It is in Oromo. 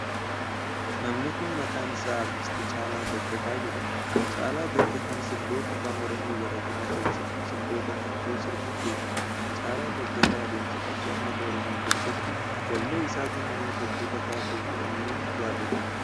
Namni kun, maqaan isaa Aartist Caalaa Dagafaa jedhama. Caalaa Dagafaan sirboota Afaan Oromoo garaa garaa keessattuu sirboota qabsoo sirbuun beekama. Caalaa Dagafaa adeemsa qabsoo ummata oromoo keessatti wallee isaatiin namoota hedduu kakaasuu fi onnuun yaadatama.